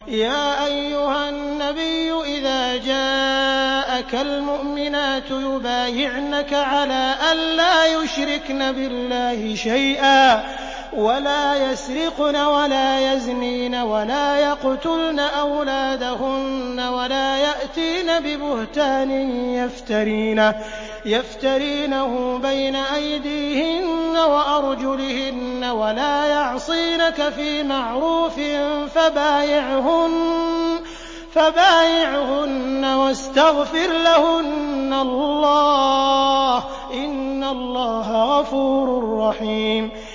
يَا أَيُّهَا النَّبِيُّ إِذَا جَاءَكَ الْمُؤْمِنَاتُ يُبَايِعْنَكَ عَلَىٰ أَن لَّا يُشْرِكْنَ بِاللَّهِ شَيْئًا وَلَا يَسْرِقْنَ وَلَا يَزْنِينَ وَلَا يَقْتُلْنَ أَوْلَادَهُنَّ وَلَا يَأْتِينَ بِبُهْتَانٍ يَفْتَرِينَهُ بَيْنَ أَيْدِيهِنَّ وَأَرْجُلِهِنَّ وَلَا يَعْصِينَكَ فِي مَعْرُوفٍ ۙ فَبَايِعْهُنَّ وَاسْتَغْفِرْ لَهُنَّ اللَّهَ ۖ إِنَّ اللَّهَ غَفُورٌ رَّحِيمٌ